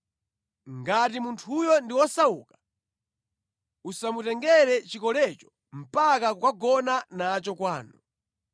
Ngati munthuyo ndi wosauka, usamutengere chikolecho mpaka kukagona nacho kwanu.